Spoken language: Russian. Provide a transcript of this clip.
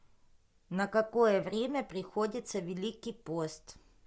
на какое время приходится великий пост